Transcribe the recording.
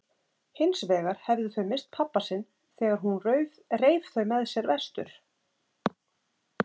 Hinsvegar hefðu þau misst pabba sinn þegar hún reif þau með sér vestur.